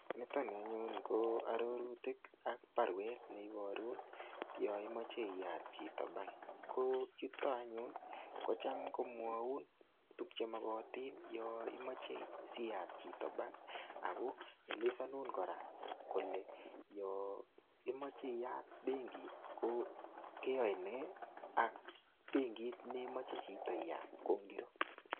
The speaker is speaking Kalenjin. Nito nii anyun ko ororutik ak baruet neiboru yon imoche iyat chito bank ko yuton anyun kochem komwou tukuk chemokotin yon imoche siyat chito bank ako elesonunkoraa kole yon imoche iyat benkit ko keyoen nee ak benkit nemoche chito iyat ko ingoroik.